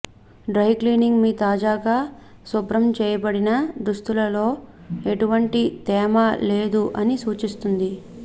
dry cleaning మీ తాజాగా శుభ్రం చేయబడిన దుస్తులలో ఎటువంటి తేమ లేదు అని సూచిస్తుంది